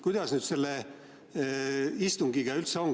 Kuidas nüüd selle istungiga üldse on?